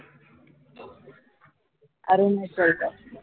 अरे न